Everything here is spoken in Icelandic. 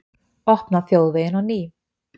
Opna þjóðveginn á ný